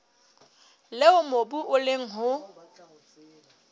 leo mobu o leng ho